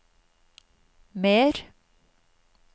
mer